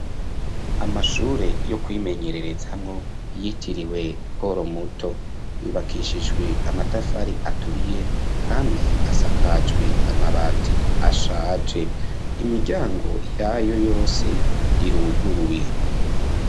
Ishuri ryisumbuye rya giboga mu ntara ya bujumbura ryubakishije amatafari ahiye kvasi gushika hejuru kaba isakaje amategura imbere mu murima hateye ivyatsi vyinshi bitotahaye n'ibiti birebire vy'ubwoko butandukanye.